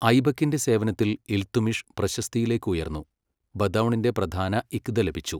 ഐബക്കിന്റെ സേവനത്തിൽ ഇൽത്തുമിഷ് പ്രശസ്തിയിലേക്ക് ഉയർന്നു, ബദൗണിന്റെ പ്രധാന ഇഖ്ത ലഭിച്ചു.